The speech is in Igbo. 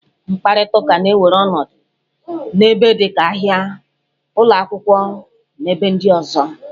Mkparịta ụka na-ewere ọnọdụ n'ebe dịka ahia, ụlọ akwụkwọ, na ebe ndị ọzọ.